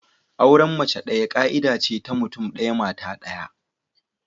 Auren mace daya ka'ida ce ta mutum daya, mata daya.